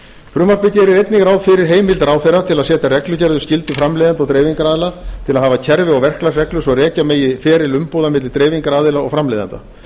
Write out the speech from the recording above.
frumvarpið gerir einnig ráð fyrir heimild ráðherra til að setja reglugerðir um skyldu framleiðenda og dreifingaraðila til að hafa kerfi og verklagsreglur svo rekja megi feril umbúða milli dreifingaraðila og framleiðenda